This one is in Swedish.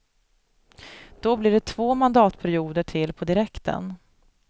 Då blir det två mandatperioder till på direkten.